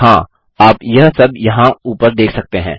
हाँ आप यह सब यहाँ ऊपर देख सकते हैं